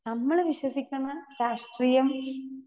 speaker 2 നമ്മള് വിശ്വസിക്കണ രാഷ്ട്രീയം